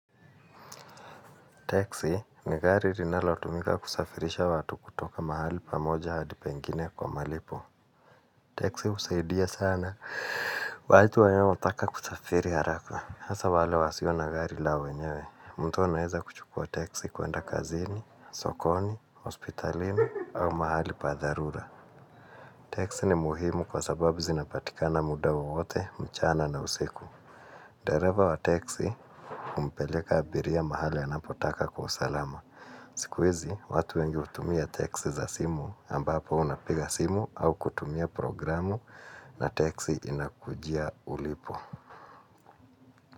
Taxi ni gari rinalo tumika kusafirisha watu kutoka mahali pamoja hadi pengine kwa malipo. Taxi husaidia sana, watu wanaotaka kusafiri haraka. Hasa wale wasio na gari lao wenyewe. Mtu anaweza kuchukua taxi kuenda kazini, sokoni, hospitalini au mahali pa dharura. Taxi ni muhimu kwa sababu zinapatikana muda wowote, mchana na usiku. Dereva wa taxi humpeleka abiria mahali anapotaka kwa usalama. Siku hizi, watu wengi hutumia teksi za simu ambapo unapiga simu au kutumia programu na teksi inakujia ulipo.